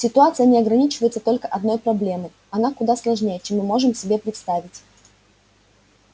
ситуация не ограничивается только одной проблемой она куда сложнее чем мы можем себе представить